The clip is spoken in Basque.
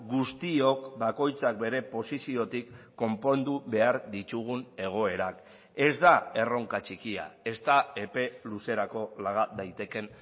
guztiok bakoitzak bere posiziotik konpondu behar ditugun egoerak ez da erronka txikia ez da epe luzerako laga daitekeen